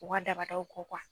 O ga dabadaw kɔ kuwa